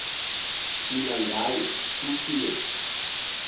thina ngayo kuthiwe